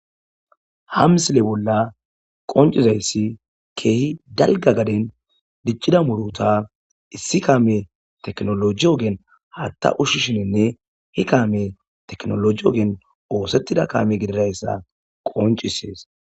Hamsile bolla qoncizayssi keehi dalga gaden diccida muruta issi kaame teknoloji ogeen haatta ushi shininne hi kaame teknoloji ogeen oosettida kaame gididayssa qoncisees